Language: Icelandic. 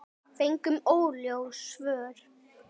Fengum óljós svör.